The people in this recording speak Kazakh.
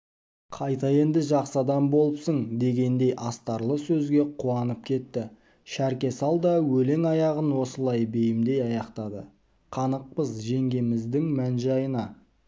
қайта енді жақсы адам болыпсың дегендей астарлы сөзге қуанып кетті шәрке сал да өлең аяғын осылай бейімдей аяқтады қанықпыз жеңгеміздің мән-жайына